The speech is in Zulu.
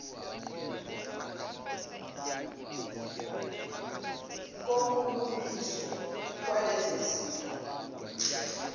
kokulungiswa kwalezo zitho